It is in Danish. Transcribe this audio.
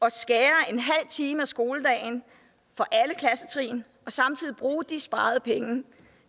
at skære en halv time af skoledagen for alle klassetrin og samtidig bruge de sparede penge